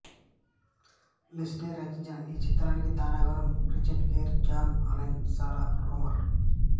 Lindsay రచించిన ఈ చిత్రానికి తారాగణం Richard Gere John Allen Sarah రోమర్